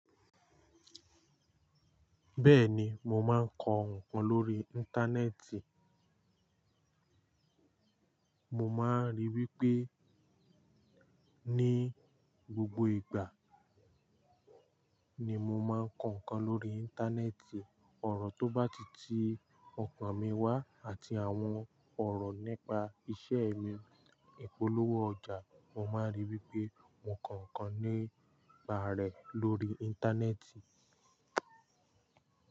Bẹ́ẹ̀ni, mo máa ń kọ ǹkan lórí Íńtánẹ́ẹ̀tì. Mo máa ń rí i wípé ní gbogbo ìgbà ni mo máa ń kọ ǹkan lórí Íńtánẹ́ẹ̀tì. Orò tó bá ti ti ọkàn mi wá àti àwọn ọ̀rọ̀ nípa iṣẹ́ mi, ìpolówó ọjà, mo máa rí i wípé mo kọ ǹkan nípa rẹ̀ lórí Íńtánẹ́ẹ̀tì.